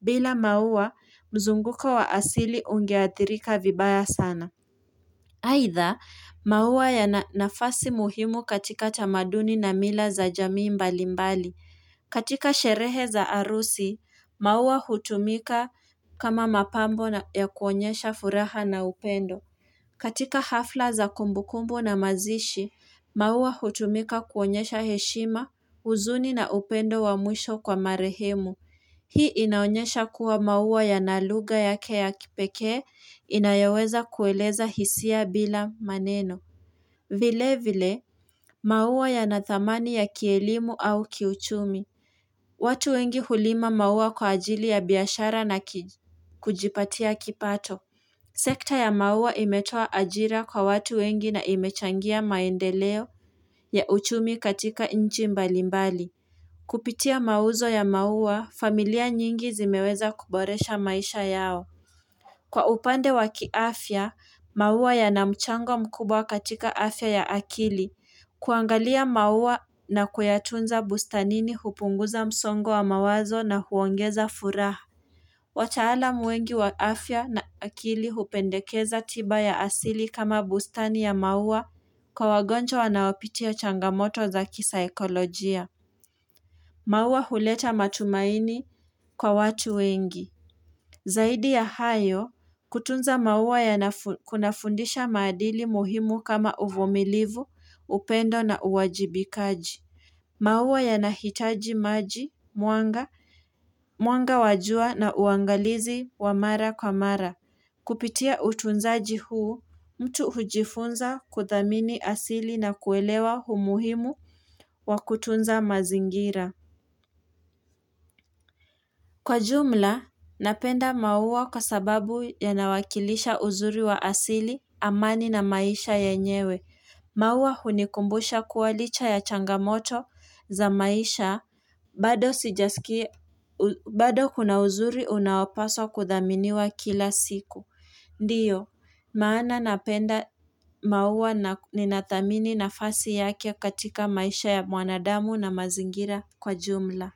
Bila maua, mzunguko wa asili ungeathirika vibaya sana. Aidha, maua yana nafasi muhimu katika tamaduni na mila za jamii mbalimbali. Katika sherehe za arusi, maua hutumika kama mapambo ya kuonyesha furaha na upendo. Katika hafla za kumbukumbu na mazishi, maua hutumika kuonyesha heshima, uzuni na upendo wa mwisho kwa marehemu. Hii inaonyesha kuwa maua yana lugha yake ya kipekee inayoweza kueleza hisia bila maneno. Vile vile, maua ya na thamani ya kielimu au kiuchumi. Watu wengi hulima maua kwa ajili ya biashara na kujipatia kipato. Sekta ya maua imetoa ajira kwa watu wengi na imechangia maendeleo ya uchumi katika nchi mbalimbali. Kupitia mauzo ya maua, familia nyingi zimeweza kuboresha maisha yao. Kwa upande waki afya, maua ya namchango mkubwa katika afya ya akili. Kuangalia maua na kuyatunza bustanini hupunguza msongo wa mawazo na huongeza furaha. Wataalamu wengi wa afya na akili hupendekeza tiba ya asili kama bustani ya maua kwa wagonjwa wanaopitia changamoto za kisaikolojia. Mauwa huleta matumaini kwa watu wengi. Zaidi ya hayo, kutunza maua kunafundisha maadili muhimu kama uvumilivu, upendo na uwajibikaji. Maua ya nahitaji maji, mwanga, mwanga wajua na uangalizi wa mara kwa mara. Kupitia utunzaji huu, mtu hujifunza kuthamini asili na kuelewa umuhimu wa kutunza mazingira. Kwa jumla, napenda maua kwa sababu ya nawakilisha uzuri wa asili, amani na maisha ya nyewe. Maua hunikumbusha kuwalicha ya changamoto za maisha, bado kuna uzuri unawapaswa kudhaminiwa kila siku. Ndiyo, maana napenda maua ninathamini na fasi yake katika maisha ya mwanadamu na mazingira kwa jumla.